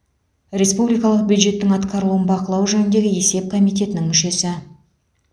республикалық бюджеттің атқарылуын бақылау жөніндегі есеп комитетінің мүшесі